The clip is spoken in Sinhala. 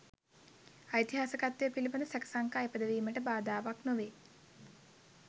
ඓතිහාසිකත්වය පිළිබඳ සැක සංකා ඉපදවීමට බාධාවක් නොවේ